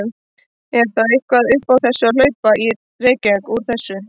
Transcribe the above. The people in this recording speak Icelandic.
En er þá eitthvað upp á að hlaupa í Reykjavík úr þessu?